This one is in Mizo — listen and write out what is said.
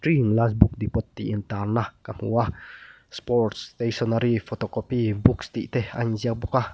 last book depot tih in tarna ka hmu a sports stationary photo copy books tih te a in ziak bawk a.